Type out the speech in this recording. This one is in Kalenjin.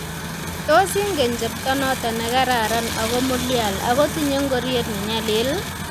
Tos ingen cheptonoto negararan ago mulyal agotinyei ngoryet nenyalil